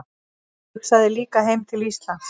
Hugsaði líka heim til Íslands.